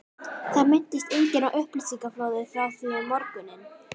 Það minntist enginn á upplýsingaflóðið frá því um morguninn.